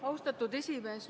Austatud esimees!